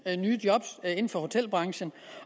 nye job inden for hotelbranchen